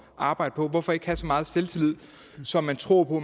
at arbejde på hvorfor ikke have så meget selvtillid så man tror på